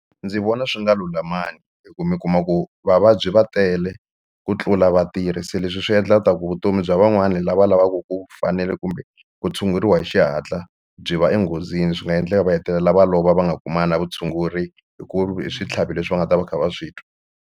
Ndzi vona swi nga lulamangi hi ku mi kuma ku vavabyi va tele ku tlula vatirhi se leswi swi endlaka ku vutomi bya van'wani lava lavaku ku fanele kumbe ku tshunguriwa hi xihatla byi va enghozini swi nga endleka va hetelela va lova va nga kuma nga na vutshunguri hi ku hi switlhavi leswi va nga ta va kha va swi twa.